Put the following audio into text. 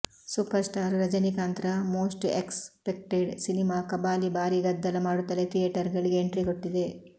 super star ರಜಿನಿಕಾಂತ್ರ most expected cinema Kabali ಭಾರೀ ಗದ್ದಲ ಮಾಡುತ್ತಲೇ ಥಿಯೇಟರ್ಗಳಿಗೆ ಎಂಟ್ರಿ ಕೊಟ್ಟಿದೆ